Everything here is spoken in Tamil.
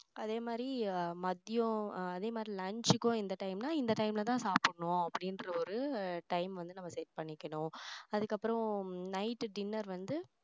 அதே மாதிரி மதியம் அதே மாதிரி lunch கும் எந்த time னா இந்த time ல தான் சாப்பிடணும் அப்படின்ற ஒரு time வந்து நம்ம set பண்ணிக்கணும் அதுக்கப்புறம் night dinner வந்து